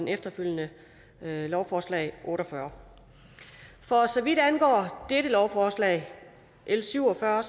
efterfølgende lovforslag otte og fyrre for så vidt angår dette lovforslag l syv og fyrre